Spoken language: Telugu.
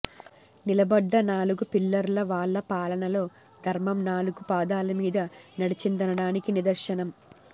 నిలబడ్డ నాలుగు పిల్లర్లు వాళ్ల పాలనలో ధర్మం నాలుగు పాదాల మీద నడిచిందనడానికి నిదర్శనం